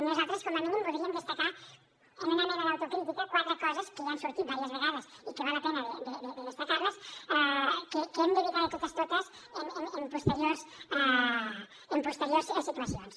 nosaltres com a mínim voldríem destacar en una mena d’autocrítica quatre coses que ja han sortit diverses vegades i que val la pena de destacar les que hem d’evitar de totes totes en posteriors situacions